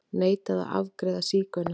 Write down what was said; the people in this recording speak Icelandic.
Neitaði að afgreiða sígauna